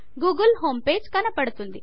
Google home page కనపడుతుంది